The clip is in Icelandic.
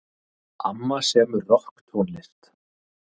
Amma semur rokktónlist.